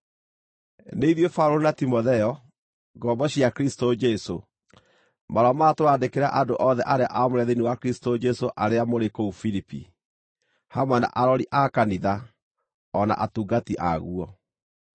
Nĩ ithuĩ Paũlũ na Timotheo, ngombo cia Kristũ Jesũ, Marũa maya tũrandĩkĩra andũ othe arĩa aamũre thĩinĩ wa Kristũ Jesũ arĩa mũrĩ kũu Filipi, hamwe na arori a kanitha, o na atungati aguo.